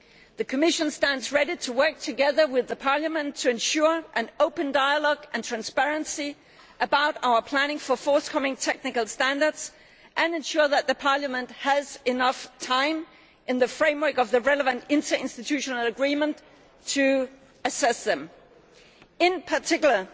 The Commission stands ready to work together with Parliament to ensure an open dialogue and transparency about our planning for forthcoming technical standards and ensure that Parliament has enough time, in the framework of the relevant inter institutional agreement, to assess them. In particular,